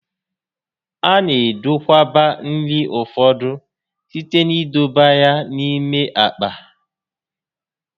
A na edokwaba nri ụfọdụ site n'idọba ya n'ime àkpà